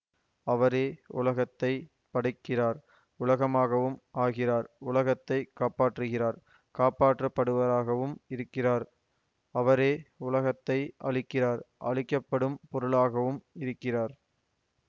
அவரே உலகத்தை படைக்கிறார் உலகமாகவும் ஆகிறார் உலகத்தை காப்பாற்றுகிறார் காப்பற்றப்படுபவராகவும் இருக்கிறார் அவரே உலகத்தை அழிக்கிறார் அழிக்க படும் பொருளாகவும் இருக்கிறார்